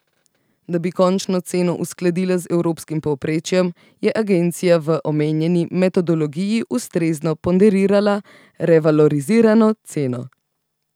Da bi končno ceno uskladila z evropskim povprečjem, je agencija v omenjeni metodologiji ustrezno ponderirala revalorizirano ceno.